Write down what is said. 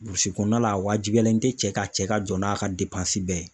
kɔnɔna la a wajibiyalen tɛ cɛ ka cɛ ka jɔ n'a ka bɛɛ ye.